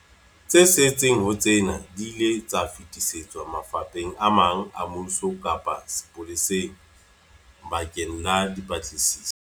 Tse setseng ho tsena di ile tsa fetisetswa mafapheng a mang a mmuso kapa sepoleseng bakeng la dipatlisiso.